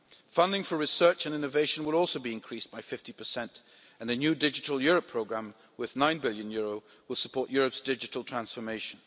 Funding for research and innovation will also be increased by 50 and the new Digital Europe programme, with EUR 9 billion, will support Europe's digital transformation.